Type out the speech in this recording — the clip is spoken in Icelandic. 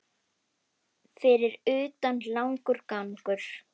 Fyrir utan langur gangur.